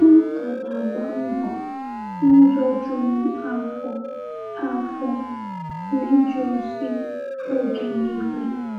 M ka na-agba mbọ n’ụzọ juru m afọ afọ n’ịje ozi oge niile.